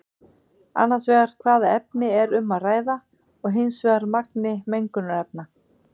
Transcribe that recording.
Annars vegar hvaða efni er um að ræða og hins vegar magni mengunarefna.